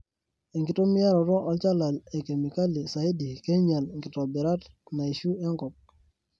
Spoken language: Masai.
Enkitumiaroto olchala e kemikali saidi keinyal kitobirat naishu enkop.